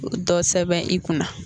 dɔ sɛbɛn i kunna